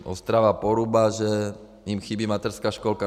Ostrava Poruba, že jim chybí mateřská školka.